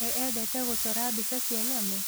We endete gũcora mbica cia nyamũ?